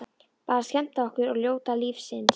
Bara skemmta okkur og njóta lífsins.